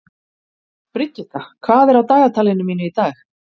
Brigitta, hvað er á dagatalinu mínu í dag?